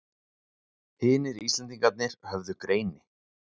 Hinir Íslendingarnir höfðu greini